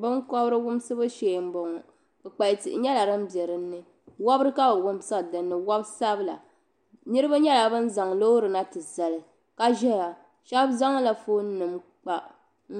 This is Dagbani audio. Binkobiri wumsibu shee m bo ŋɔ kpukpali tihi nyela din biɛ din ni wobiri ka bi wumsiri ni wobisabila niribi nyela ban zaŋ loori na ti zali ka ʒeya shɛb zaŋla fonenim kpa n